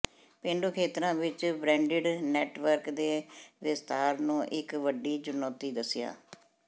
ਪੇਂਡੂ ਖੇਤਰਾਂ ਵਿਚ ਬ੍ਰਾਂਡਿਡ ਨੈੱਟਵਰਕ ਦੇ ਵਿਸਥਾਰ ਨੂੰ ਇਕ ਵੱਡੀ ਚੁਨੌਤੀ ਦਸਿਆ